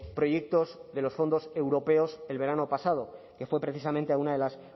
proyectos de los fondos europeos el verano pasado que fue precisamente a una de las